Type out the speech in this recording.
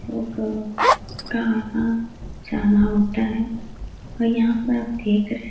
लोगों का आना जाना होता है। और यहाँ पर आप देख रहे --